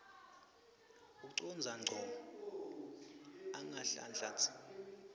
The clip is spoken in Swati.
ucondza ngco angahlanhlatsi